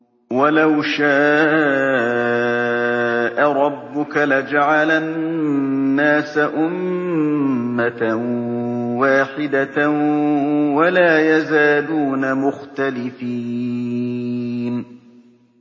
وَلَوْ شَاءَ رَبُّكَ لَجَعَلَ النَّاسَ أُمَّةً وَاحِدَةً ۖ وَلَا يَزَالُونَ مُخْتَلِفِينَ